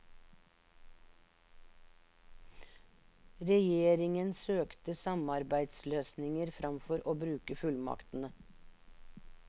Regjeringen søkte samarbeidsløsninger framfor å bruke fullmaktene.